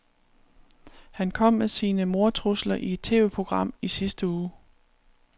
Han kom med sine mordtrusler i et TVprogram i sidste uge.